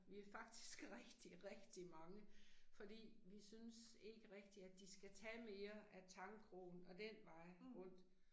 Vi er faktisk rigtig rigtig mange, fordi vi synes ikke rigtig at de skal tage mere af Tangkrogen, af den vej rundt